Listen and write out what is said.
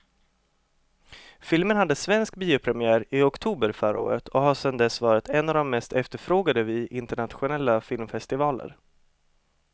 Filmen hade svensk biopremiär i oktober förra året och har sedan dess varit en av de mest efterfrågade vid internationella filmfestivaler.